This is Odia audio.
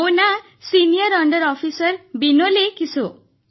ମୋ ନାଁ ସିନିୟର ଅଣ୍ଡର ଅଫିସର ବିନୋଲେ କିସୋ